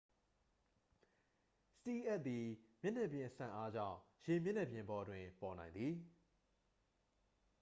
စတီးလ်အပ်သည် မျက်နှာပြင်စန့်အားကြောင့် ရေမျက်နှာပြင်ပေါ်တွင် ပေါ်နိုင်သည်